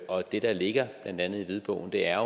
og det der ligger i blandt andet hvidbogen er